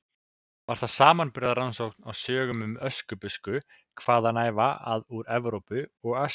Var það samanburðarrannsókn á sögum um Öskubusku hvaðanæva að úr Evrópu og Asíu.